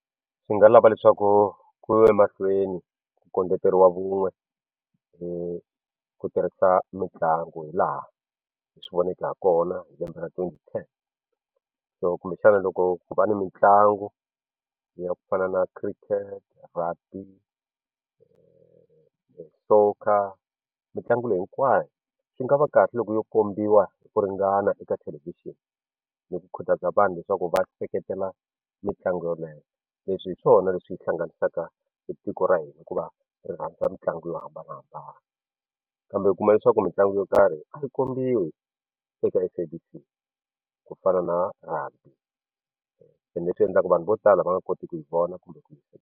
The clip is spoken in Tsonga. Swi nga lava leswaku ku yiwa emahlweni ku kondleteriwa vun'we hi ku tirhisa mitlangu hilaha hi swi voneke hi kona hi lembe ra twenty ten so kumbexana loko ku va ni mitlangu yi ya ku fana na Cricket Rugby Soccer mitlangu leyi hinkwayo swi nga va kahle loko yo kombiwa ku ringana eka thelevhixini ni ku khutaza vanhu leswaku va seketela mitlangu yoleyo leswi hi swona leswi hi hlanganisaka tiko ra hina hikuva ri rhandza mitlangu yo hambanahambana kambe u kuma leswaku mitlangu yo karhi a yi kombiwi eka SABC ku fana na Rugby ende leswi endlaka vanhu vo tala va nga koti ku yi vona kumbe ku .